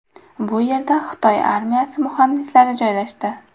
Bu yerda Xitoy armiyasi muhandislari joylashdi.